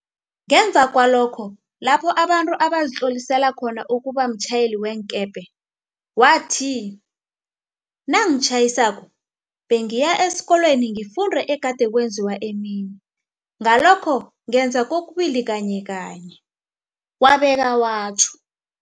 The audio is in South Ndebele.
gemva kwalokho lapho abantu bazitlolisela khona ukuba batjhayeli beenkepe. Wathi, Nangitjhayisako bengiya esikolweni ngifunde egade kwenziwa emini, ngalokho ngenza kokubili kanyeka nye, wabeka watjho.